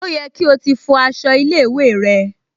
Ó yẹ kí o ti fọ aṣọ ilé-ìwé rẹ?